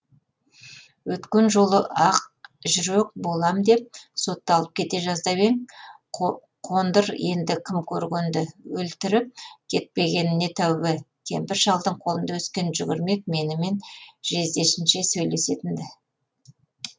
өткен жолы ақ жүрек болам деп сотталып кете жаздап ең қондыр енді кім көргенді өлтіріп кетпегеніне тәуба кемпір шалдың қолында өскен жүгірмек менімен жездесінше сөйлесетін ді